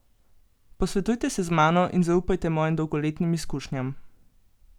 Posvetujte se z mano in zaupajte mojim dolgoletnim izkušnjam!